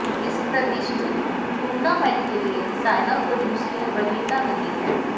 इस प्रतिष्ठित टूर्नामेंट के लिए सायना को दूसरी वरीयता मिली है